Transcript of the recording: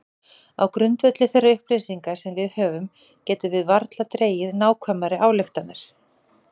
Á grundvelli þeirra upplýsinga sem við höfum getum við varla dregið nákvæmari ályktanir.